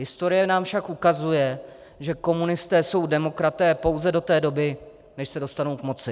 Historie nám však ukazuje, že komunisté jsou demokraté pouze do té doby, než se dostanou k moci.